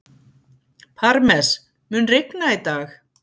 Parmes, mun rigna í dag?